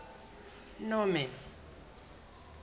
norman